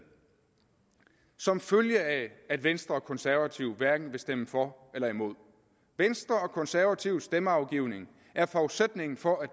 som følge af at venstre og de konservative hverken vil stemme for eller imod venstres og de konservatives stemmeafgivning er forudsætningen for at